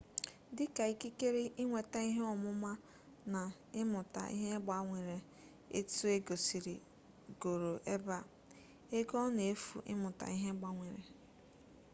dịka ikikere ịnweta ihe ọmụma na ịmụta ihe gbanwere etu e gosigoro ebe a ego ọ na-efu ịmụta ihe gbanwere